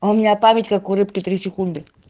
у меня память как у рыбк